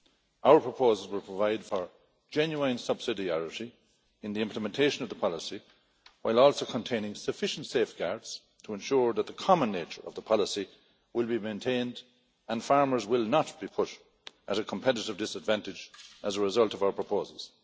Our proposals would provide for genuine subsidiarity in the implementation of the policy, while also containing sufficient safeguards to ensure that the common nature of the policy will be maintained and farmers will not be put at a competitive disadvantage as a result of our proposals.